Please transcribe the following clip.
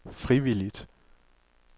frivilligt